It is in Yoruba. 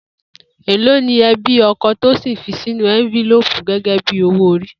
Èló ni e̩bí o̩ko̩ Tósìn fi sínú é̩ńbílóòkù gé̩gé̩ bí owó ori?